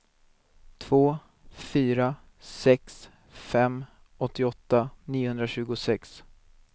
två fyra sex fem åttioåtta niohundratjugosex